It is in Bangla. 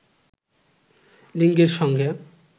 লিঙ্গের সঙ্গে